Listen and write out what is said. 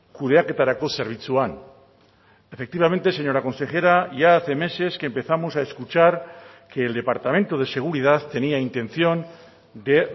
kudeaketarako zerbitzuan efectivamente señora consejera ya hace meses que empezamos a escuchar que el departamento de seguridad tenía intención de